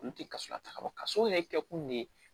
Olu tɛ kasɔrɔ ta ka bɔ kaso yɛrɛ kɛ kun de ye